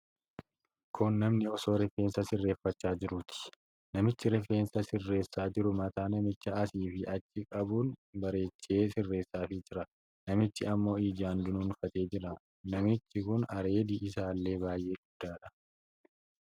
Kun namni osoo rifeensa sirreeffachaa jiruuti. Namichi rifeensa sirreessaa jiru mataa namichaa asii fi achi qabuun bareechee sirreessaafii jira. Namichi ammo ijaan dunuunfatee jira. Namichi kun areedi isaallee baay'ee guddaadha.